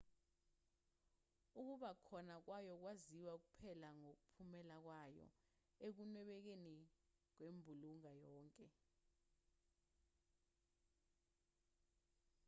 ukuba khona kwayo kwaziwa kuphela ngomphumela wayo ekunwebekeni kwembulunga yonke